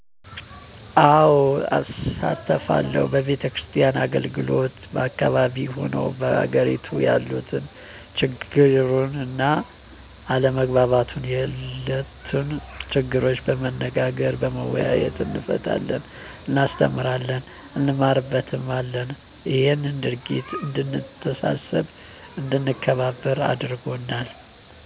አዎ እሳተፋለሁ በቤተክርስቲያን አገልግሎት በአካባቢው ሆኑ በአገሬቱ ያሉትን ችግሩን እና አለመግባባት የሉትን ነገሮች በመነጋገር በመወያየት እንፈታለን እናስተምራለን እንማርበታለንም እሄ ድርጊት እድንተሳሰብ አድንከባበር አርጎናል